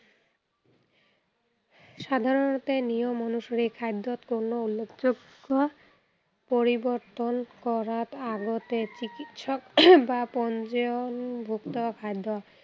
সাধাৰণতে নিয়ম অনুসৰি খাদ্য়ত কোনো নতুনত্ব পৰিৱৰ্তন কৰাতআগতে চিকিৎসক বা পঞ্জীয়নভুক্ত খাদ্য়